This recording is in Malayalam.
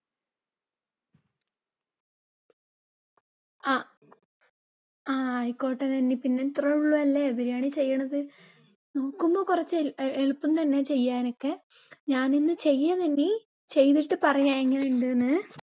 ആ ആയിക്കോട്ടെ നന്നി, പിന്നെ ഇത്ര ഉള്ളു അല്ലേ biryani ചെയ്യുന്നത്. നോക്കുമ്പോൾ കുറച്ച് എളുപ്പം തന്നെ ചെയ്യാനൊക്കെ ഞാനിന്ന് ചെയ്യാം നാന്നി, ചെയ്തിട്ടു പറയാം എങ്ങനെ ഉണ്ടെന്ന്.